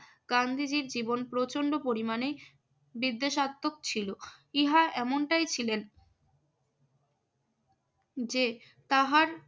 গান্ধীজীর জীবন প্রচন্ড পরিমাণে বিদ্বেষার্থক ছিল। ইহা এমনটাই ছিলেন যে তাহার